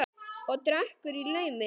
Og drekkur í laumi.